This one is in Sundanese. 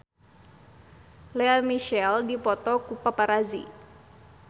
Lea Michele dipoto ku paparazi